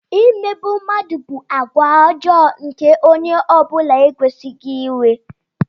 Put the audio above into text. Imegbu mmadụ bụ àgwà ọjọọ nke onye ọ bụla ekwesịghị inwe.